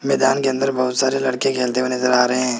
मैदान के अंदर बहुत सारे लड़के खेलते हुए नजर आ रहे हैं।